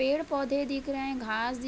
पेड़ पौधे दिख रहे हैं । घास दिख --